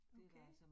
Okay